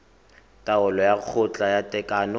taolo ya kgotla ya tekano